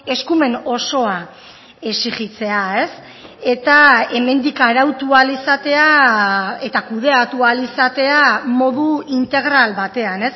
eskumen osoa exijitzea eta hemendik arautu ahal izatea eta kudeatu ahal izatea modu integral batean